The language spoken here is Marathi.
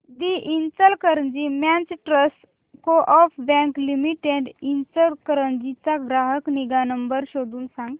दि Ichalkaranji merchants coop bank limited Ichalkaranji चा ग्राहक निगा नंबर शोधून सांग